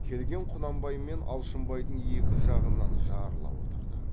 келген құнанбай мен алшынбайдың екі жағынан жарыла отырды